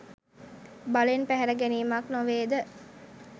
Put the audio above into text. බලෙන් පැහැර ගැනීමක් නොවේද?